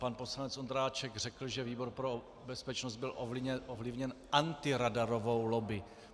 Pan poslanec Ondráček řekl, že výbor pro bezpečnost byl ovlivněn antiradarovou lobby.